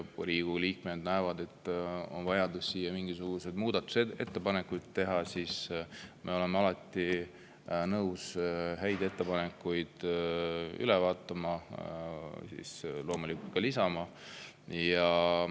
Kui Riigikogu liikmed näevad, et on vaja teha mingisuguseid muudatusettepanekuid, siis me oleme alati nõus häid ettepanekuid üle vaatama ja loomulikult ka lisama.